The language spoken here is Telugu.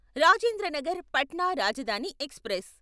రాజేంద్ర నగర్ పట్నా రాజధాని ఎక్స్ప్రెస్